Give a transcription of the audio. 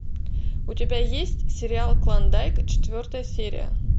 у тебя есть сериал клондайк четвертая серия